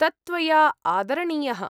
तत्त्वया आदरणीयः।